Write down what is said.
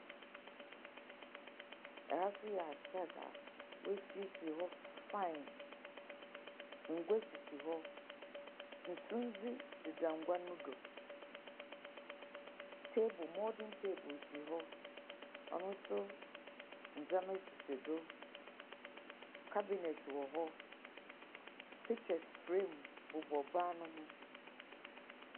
Ɛha so yɛ asado a w'esiesie hɔ fae. Ngwa sisi hɔ, sundze deda ngwa no do. Teebol, mɔden teebol si hɔ, ɔno so ndzema sisi do. Kabinɛt wɔ hɔ, pikkyɛs frem bobɔ ban no ho.